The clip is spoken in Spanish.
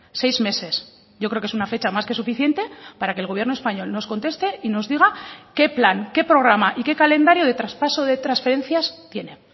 seis meses yo creo que es una fecha más que suficiente para que el gobierno español nos conteste y nos diga qué plan qué programa y qué calendario de traspaso de transferencias tiene